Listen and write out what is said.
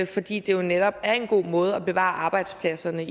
fordi det jo netop også er en god måde at bevare arbejdspladserne